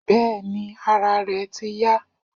Bẹ́ẹ̀ni ara rẹ̀ ti yá.